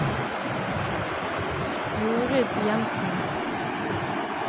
Jorid Jenssen